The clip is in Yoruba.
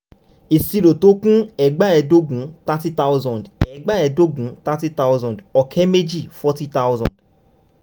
ìṣirò tó kù um c/d ẹgbàáẹ́ẹdógún thirty thousand ẹgbàáẹ́ẹdógún thirty thousand ọ̀kẹ́ mèjì forty thousand.